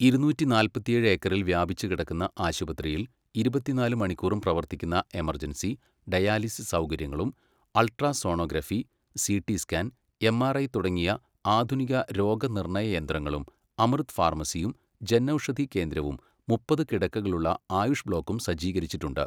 ഇരുന്നൂറ്റി നാല്പത്തിയേഴ് ഏക്കറിൽ വ്യാപിച്ചുകിടക്കുന്ന ആശുപത്രിയിൽ ഇരുപത്തിനാല് മണിക്കൂറും പ്രവർത്തിക്കുന്ന എമെർജൻസി, ഡയാലിസിസ് സൗകര്യങ്ങളും ultra sonography , CT scan, MRI തുടങ്ങിയ ആധുനിക രോഗനിർണ്ണയയന്ത്രങ്ങളും അമൃത് ഫാർമസിയും, ജൻഔഷധി കേന്ദ്രവും, മുപ്പത് കിടക്കകളുള്ള ആയുഷ് ബ്ലോക്കും സജ്ജീകരിച്ചിരിച്ചിട്ടുണ്ട്.